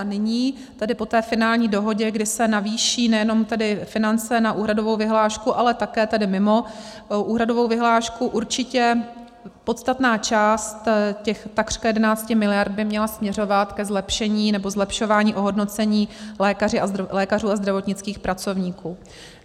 A nyní tedy po té finální dohodě, kdy se navýší nejenom tedy finance na úhradovou vyhlášku, ale také tedy mimo úhradovou vyhlášku, určitě podstatná část těch takřka 11 miliard by měla směřovat ke zlepšení nebo zlepšování ohodnocení lékařů a zdravotnických pracovníků.